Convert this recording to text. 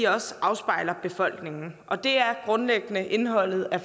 også afspejler befolkningen og det er grundlæggende indholdet af